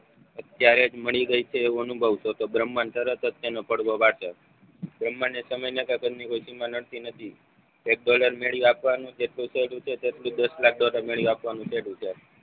ક્યારે મળી ગયા છે એવો અનુભવ થ્યોતો. બ્રહ્માંડ તરત જ તેનો પડવો વાંચે બ્રહ્માંડે સમયના કે ઘરની કોઈ સીમા નડતી નથી. એક ડોલર મેળવી આપવાનું જેટલું તેટલું દસલાખ ડોલર મેળવી આપવાનું છે.